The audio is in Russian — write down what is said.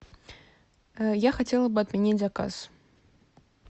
я хотела бы отменить заказ